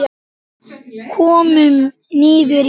Komum niður í bæ!